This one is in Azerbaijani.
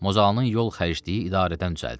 Mozalanın yol xərcliyi idarədən düzəldi.